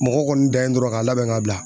Mɔgɔ kɔni dan ye dɔrɔn k'a labɛn ka bila.